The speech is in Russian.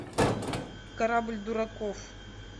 корабль дураков